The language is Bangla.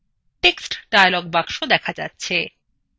text dialog box দেখা যাচ্ছে